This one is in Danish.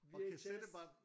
VHS